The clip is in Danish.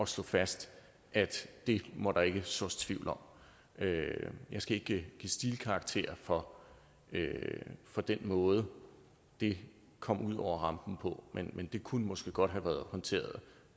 slå fast at det må der sås tvivl om jeg skal ikke give stilkarakterer for for den måde det kom ud over rampen på men det kunne måske godt være håndteret